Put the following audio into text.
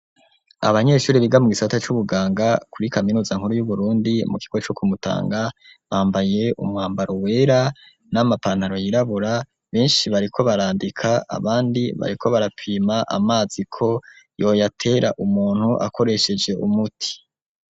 Abanyeshuri biga mu gisata c'ubuganga kuri kaminuza nkuru y'uburundi mu girwa co kumutanga bambaye umwambaro wera n'amapantaro yirabura benshi bariko barandika abandi bariko barapima amaziko yoyatera umuntu akoresheje umuti.